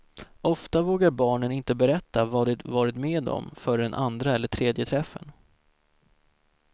Ofta vågar barnen inte berätta vad de varit med om förrän andra eller tredje träffen.